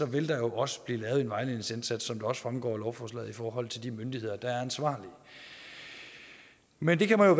vil der jo også blive lavet en vejledningsindsats som det også fremgår af lovforslaget i forhold til de myndigheder der er ansvarlige men det kan man